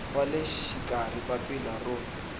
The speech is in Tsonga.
wa le xikarhi papila ro